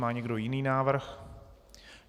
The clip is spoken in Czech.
Má někdo jiný návrh?